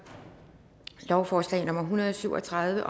lovforslag nummer hundrede og syv og tredive